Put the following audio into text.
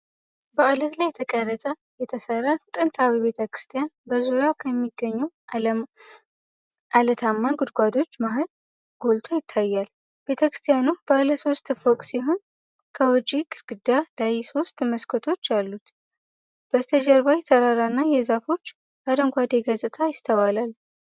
በዓለት ላይ ተቀርጾ የተሠራ ጥንታዊ ቤተ ክርስቲያን በዙሪያው ከሚገኙ ዓለታማ ጉድጓዶች መሃል ጎልቶ ይታያል። ቤተክርስቲያኑ ባለ ሶስት ፎቅ ሲሆን፣ ከውጭው ግድግዳ ላይ ሦስት መስኮቶች አሉት። በስተጀርባ የተራራና የዛፎች አረንጓዴ ገጽታ ይስተዋላል።